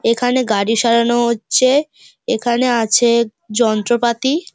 এখানে গাড়ি সারানো হচ্ছে। এখানে আছে যন্ত্রপাতি।